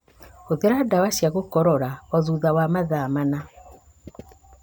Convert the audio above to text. Hũthĩra ndawa cia gũkorora o thutha wa mathaa mana